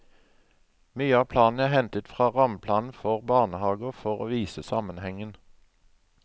Mye av planen er hentet i fra rammeplanen for barnehager for å vise sammenhengen.